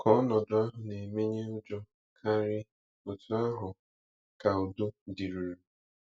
Ka ọnọdụ ahụ na-emenye ụjọ karị, otú ahụ ka udo dịruru.